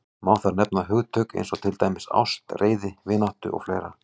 Má þar nefna hugtök eins og til dæmis ást, reiði, vináttu og fleira.